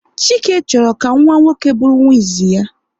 Chike chọrọ ka nwa nwoke bụrụ nwa izizi ya